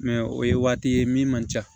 Mɛ o ye waati ye min man ca